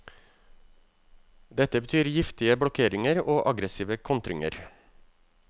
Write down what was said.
Dette betyr giftige blokkeringer og aggressive kontringer.